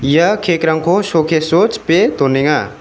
ia cake-rangko showcase-o chipe donenga.